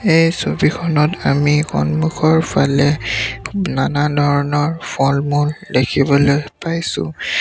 এই ছবিখনত আমি সন্মুখৰ ফালে নানা ধৰণৰ ফল মূল দেখিবলৈ পাইছোঁ।